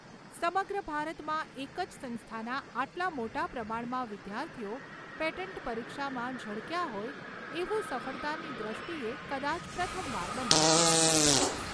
સમગ્ર ભારતમાં એક જ સંસ્થાના આટલા મોટા પ્રમાણમાં વિદ્યાર્થીઓ પેટન્ટ પરીક્ષામાં ઝળકયા હોય એવું સફળતાની દ્રષ્ટીએ કદાચ પ્રથમવાર બન્યું છે.